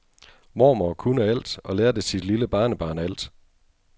Mormor kunne alt og lærte sit lille barnebarn alt.